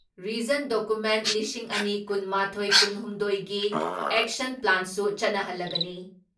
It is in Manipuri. ꯔꯤꯖꯟ ꯗꯣꯀꯨꯃꯦꯟ ꯂꯤꯁꯤꯡ ꯑꯅꯤ ꯀꯨꯟ ꯃꯥꯊꯣꯏ ꯀꯨꯟ ꯍꯨꯝꯗꯣꯏ ꯒꯤ ꯑꯦꯛꯁꯟ ꯄ꯭ꯂꯥꯟꯁꯨ ꯆꯠꯅꯍꯜꯂꯒꯅꯤ ꯫